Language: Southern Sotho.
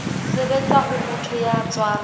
sebetsa ho motho ya tswang